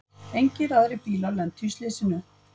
Engir aðrir bílar lentu í slysinu